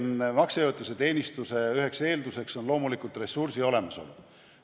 Maksejõuetuse teenistuse üheks eelduseks on loomulikult ressursi olemasolu.